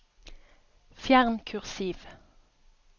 Fjern kursiv